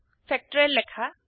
factorial লেখা